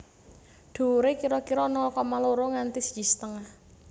Dhuwuré kira kira nol koma loro nganti siji setengah